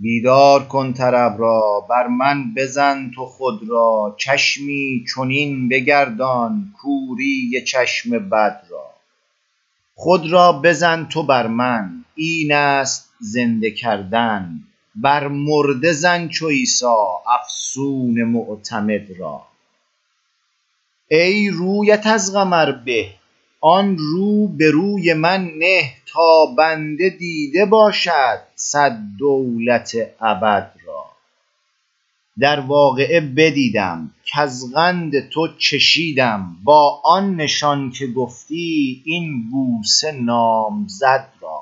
بیدار کن طرب را بر من بزن تو خود را چشمی چنین بگردان کوری چشم بد را خود را بزن تو بر من اینست زنده کردن بر مرده زن چو عیسی افسون معتمد را ای رویت از قمر به آن رو به روی من نه تا بنده دیده باشد صد دولت ابد را در واقعه بدیدم کز قند تو چشیدم با آن نشان که گفتی این بوسه نام زد را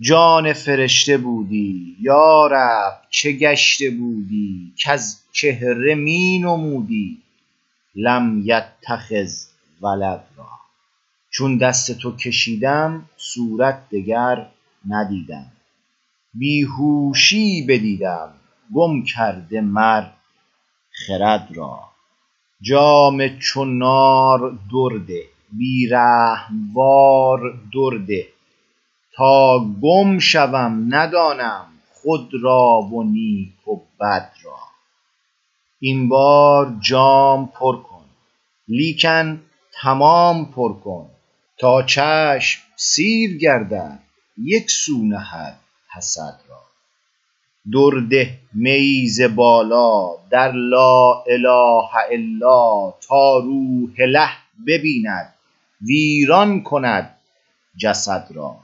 جان فرشته بودی یا رب چه گشته بودی کز چهره می نمودی لم یتخذ ولد را چون دست تو کشیدم صورت دگر ندیدم بی هوشیی بدیدم گم کرده مر خرد را جام چو نار درده بی رحم وار درده تا گم شوم ندانم خود را و نیک و بد را این بار جام پر کن لیکن تمام پر کن تا چشم سیر گردد یک سو نهد حسد را درده میی ز بالا در لا اله الا تا روح اله بیند ویران کند جسد را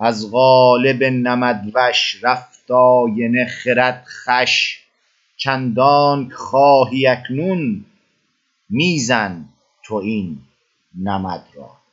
از قالب نمدوش رفت آینه خرد خوش چندانک خواهی اکنون می زن تو این نمد را